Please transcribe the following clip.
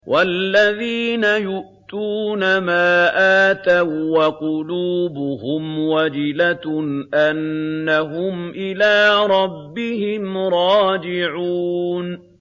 وَالَّذِينَ يُؤْتُونَ مَا آتَوا وَّقُلُوبُهُمْ وَجِلَةٌ أَنَّهُمْ إِلَىٰ رَبِّهِمْ رَاجِعُونَ